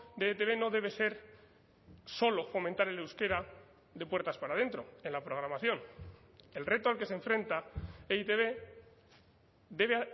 de etb no debe ser solo fomentar el euskera de puertas para adentro en la programación el reto al que se enfrenta e i te be debe